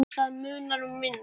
Það munar um minna.